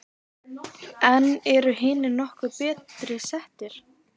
En eru hinir nokkru betur settir?